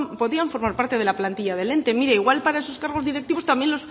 podían formar parte de la plantilla del ente mire igual para sus cargos directivos también